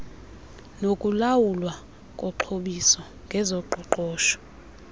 nokulawulwa koxhobiso ngezoqoqosho